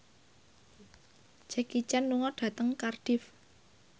Jackie Chan lunga dhateng Cardiff